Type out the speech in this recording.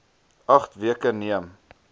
agt weke neem